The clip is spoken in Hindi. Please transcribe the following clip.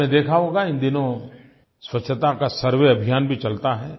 आपने देखा होगा इन दिनों स्वच्छता का सर्वे अभियान भी चलता है